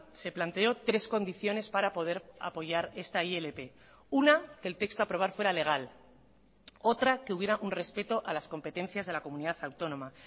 se planteó tres condiciones para poder apoyar esta ilp una que el texto a aprobar fuera legal otra que hubiera un respeto a las competencias de la comunidad autónoma